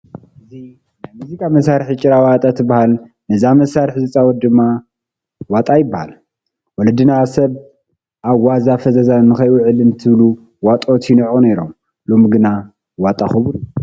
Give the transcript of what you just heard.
እዛ ናይ ሙዚቃ መሳርሒ ጭራ ዋጣ ትበሃል፡፡ ነዛ መሳርሒ ዝፃወት ድማ ዋጣ ይበሃል፡፡ ወለድና ሰብ ኣብ ዋዛ ፈዛዛ ንከይውዕል እንትብሉ ዋጦት ይንዕቑ ነይሮም፡፡ ሎሚ ግን ዋጣ ክቡር እዩ፡፡